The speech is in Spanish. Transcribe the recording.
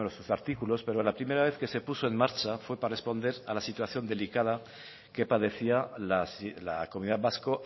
uno de sus artículos pero la primera vez que se puso en marcha fue para responder a la situación delicada que padecía la comunidad vasco